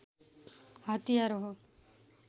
हतियार हो